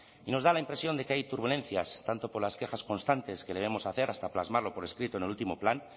y nos da la impresión de que hay turbulencias tanto por las quejas constantes que debemos hacer hasta plasmarlo por escrito en el último plan